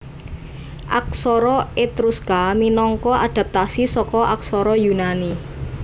Aksara Etruska minangka adapatasi saka aksara Yunani